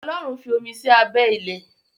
Ọlọ́run fí omi sí abẹ́ ilẹ̀.